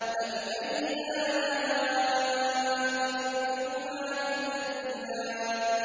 فَبِأَيِّ آلَاءِ رَبِّكُمَا تُكَذِّبَانِ